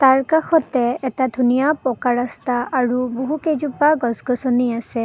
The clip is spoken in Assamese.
তাৰ কাষতে এটা ধুনীয়া পকা ৰাস্তা আৰু বহুকেইজোপা গছ-গছনি আছে।